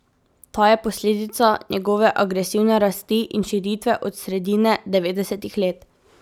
Ta je posledica njegove agresivne rasti in širitve od sredine devetdesetih let.